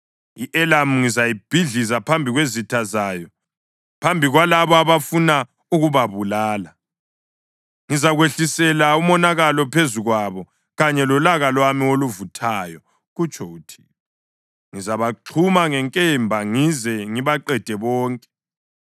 I-Elamu ngizayibhidliza phambi kwezitha zayo, phambi kwalabo abafuna ukubabulala. Ngizakwehlisela umonakalo phezu kwabo kanye lolaka lwami oluvuthayo,” kutsho uThixo. “Ngizabaxhuma ngenkemba ngize ngibaqede bonke.